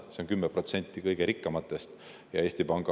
Need on 10% kõige rikkamatest.